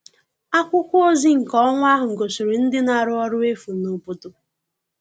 Akwụkwọ ozi nke ọnwa ahụ gosiri ndị na-arụ ọrụ efu n'obodo